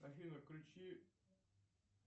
афина включи